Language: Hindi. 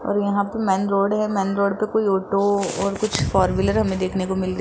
और यहां पे मैन रोड है मैन रोड पे कोई ऑटो और कुछ फोर व्हीलर हमे देखने को मिल र --